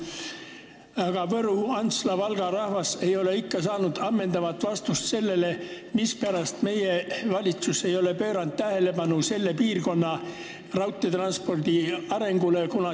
Aga Võru, Antsla ja Valga rahvas ei ole ikka saanud ammendavat vastust, mispärast meie valitsus ei ole pööranud tähelepanu selle piirkonna raudteetranspordi arengule.